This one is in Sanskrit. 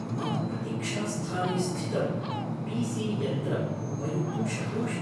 मम प्रतीक्षास्थाने स्थितं पी.सी. यन्त्रम् उपयोक्तुं शक्नोषि।